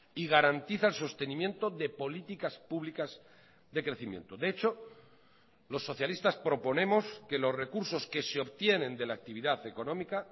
y garantiza el sostenimiento de políticas públicas de crecimiento de hecho los socialistas proponemos que los recursos que se obtienen de la actividad económica